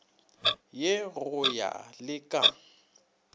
ye go ya le ka